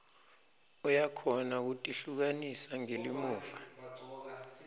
uyakhona kutihlukanisa ngelimuva